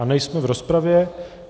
A nejsme v rozpravě.